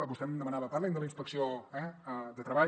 vostè em demanava parli’m de la inspecció de treball